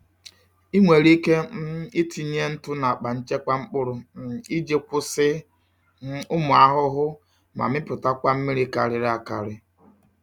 Ị nwere ike um itinye ntụ n’akpa nchekwa mkpụrụ um iji kwụsị um ụmụ ahụhụ ma mipụtakwa mmiri karịrị akarị.